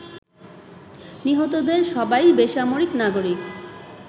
নিহতদের সবাই বেসামরিক নাগরিক